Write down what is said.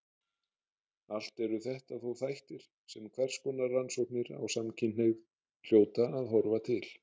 Allt eru þetta þó þættir sem hverskonar rannsóknir á samkynhneigð hljóta að horfa til.